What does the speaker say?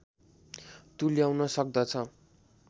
तुल्याउन सक्दछ